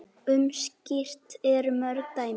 Um slíkt eru mörg dæmi.